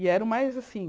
E era o mais assim...